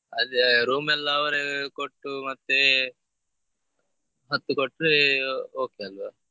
ಅದೇ room ಎಲ್ಲಾ ಅವರೇ ಕೊಟ್ಟು ಮತ್ತೇ ಹತ್ತು ಕೊಟ್ರೆ okay ಆಲ್ವಾ?